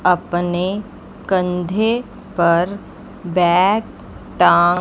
अपने कंधे पर बैग टां--